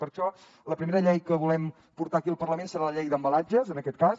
per això la primera llei que volem portar aquí al parlament serà la llei d’embalatges en aquest cas